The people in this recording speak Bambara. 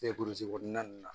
kɔnɔna nunnu na